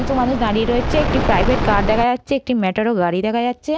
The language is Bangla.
কিছু মানুষ দাঁড়িয়ে রয়েছে একটি প্রাইভেট কার দেখা যাচ্ছে একটি ম্যাটারও গাড়ি দেখা যাচ্ছে।